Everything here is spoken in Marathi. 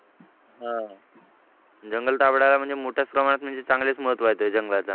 हा आह जंगल दगडाला म्हणजे मोठ्या प्रमाणात म्हणजे चांगलेच महत्त्व आहे त्या जंगलात